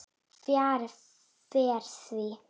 Fjarri fer því.